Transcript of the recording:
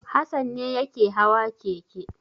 Hassan ne yake hawa keke.